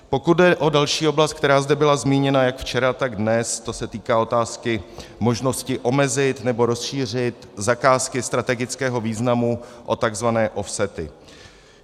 Pokud jde o další oblast, která zde byla zmíněna jak včera, tak dnes, to se týká otázky možnosti omezit nebo rozšířit zakázky strategického významu o tzv. offsety.